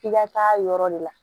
F'i ka taa yɔrɔ de la